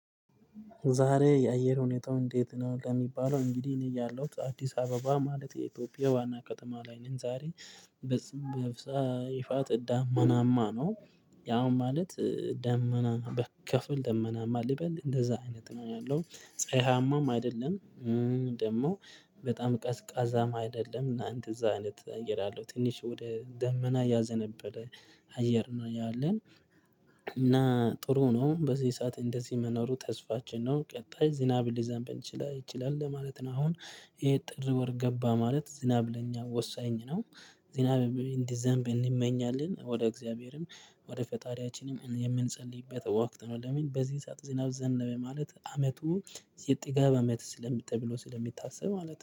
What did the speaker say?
ዛሬ የአየር ሁኔታው እንዴት ነው? ለሚባለው እንግዲህ እኔ ያለሁት አዲስ አበባ ማለት የኢትዮጵያ ዋና ከውማ ላይ ነን ዛሬ በጽም በፍጻሜ ይፋት ደማናማ ነው። ያው ማለት ደመና በከፊል ደመናማ ልበል እንደዛ አይነት ነው ያለው ፀሀያማም አይደለም። ደግሞ በጣም ቀዝቃዛ አይደለም እና እንደእዛ አይነት አየር አለው ትንሽ ወደ ደመና ያዘነበለ አየር ነው ያለን። እና ጥሩ ነው በዚህ ሰዓት እንደዚህ መኖሩ ተስፋችን ነው ቀጣይ ዝናብ ሊዘንብ ይችላል ማለት ነው። አሁን ይሄ ጥር ወር ገባ ማለት ዝናብ ለኛ ወሳኝ ነው። ዝናብ እንዲዘንብ እንመኛለን ወደ እግዚአብሔርም ወደ ፈጣሪያችንም የምንጸልይበት ወቅት ነው። ለምን በዚህ ሰዓት ዝናብ ዘንበ ማለት አመቱ የጥጋብ አመት ተብሎ ስለሚታስብ ማለት